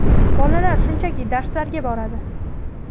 Bolalar shunchaki darslarga boradi.